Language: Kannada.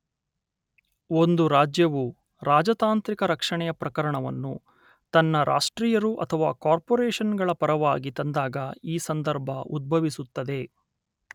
ಒಂದು ರಾಜ್ಯವು ರಾಜತಾಂತ್ರಿಕ ರಕ್ಷಣೆಯ ಪ್ರಕರಣವನ್ನು ತನ್ನ ರಾಷ್ಟ್ರೀಯರು ಅಥವಾ ಕಾರ್ಪೊರೇಶನ್ ಗಳ ಪರವಾಗಿ ತಂದಾಗ ಈ ಸಂದರ್ಭ ಉದ್ಭವಿಸುತ್ತದೆ